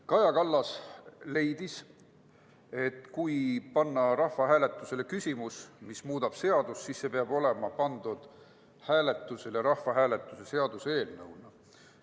Kaja Kallas leidis, et kui panna rahvahääletusele küsimus, mis muudab seadust, siis see peab olema pandud hääletusele seaduseelnõuna.